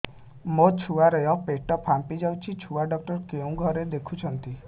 ମୋ ଛୁଆ ର ପେଟ ଫାମ୍ପି ଯାଉଛି ଛୁଆ ଡକ୍ଟର କେଉଁ ଘରେ ଦେଖୁ ଛନ୍ତି